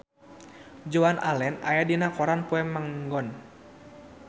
Joan Allen aya dina koran poe Minggon